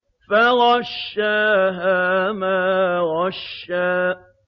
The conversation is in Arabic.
فَغَشَّاهَا مَا غَشَّىٰ